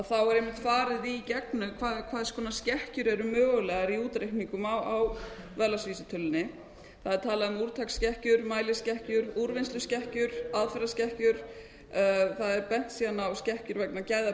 þá er einmitt farið í gegnum hvers konar skekkjur eru mögulegar í útreikningum á verðlagsvísitölunni það er talað um úrtaksskekkjur mæliskekkjur úrvinnsluskekkjur aðferðaskekkjur það er bent síðan á skekkjur vegna gæða